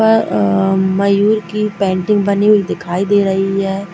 आ-आ- मयूर की पेंटिंग बनी हुई दिखाई दे रही है।